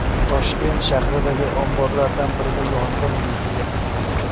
Toshkent shahridagi omborlardan birida yong‘in yuz berdi.